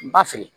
N ba feere